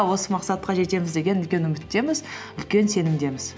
осы мақсатқа жетеміз деген үлкен үміттеміз үлкен сенімдеміз